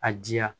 A diya